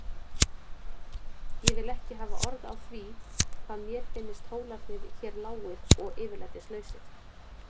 Ég vil ekki hafa orð á því hvað mér finnst hólarnir hér lágir og yfirlætislausir.